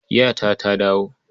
Yata ta dawo.